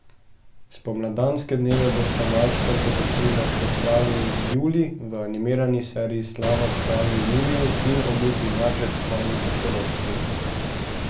Spomladanske dneve bosta malčkom popestrila še kralj Julij v animirani seriji Slava kralju Juliju in Obuti maček s svojimi pustolovščinami.